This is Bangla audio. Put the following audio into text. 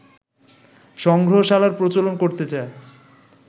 সংগ্রহশালার প্রচলন করতে চায়